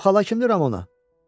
Bu xala kimdir Ramona?